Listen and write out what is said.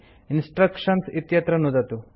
instructions इत्यत्र नुदतु